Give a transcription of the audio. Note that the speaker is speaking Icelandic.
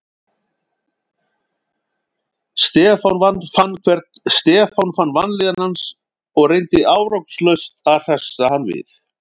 Stefán fann vanlíðan hans og reyndi árangurslaust að hressa hann við.